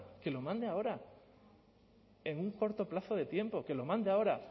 que lo mande ahora en un corto plazo de tiempo que lo mande ahora